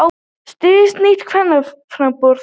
Styður nýtt kvennaframboð